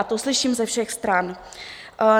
A to slyším ze všech stran.